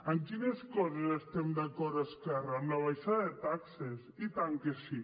en quines coses estem d’acord esquerra en la baixada de taxes i tant que sí